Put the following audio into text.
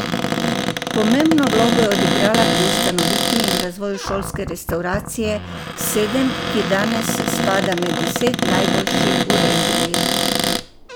Pomembno vlogo je odigrala pri ustanovitvi in razvoju šolske restavracije Sedem, ki danes spada med deset najboljših v regiji.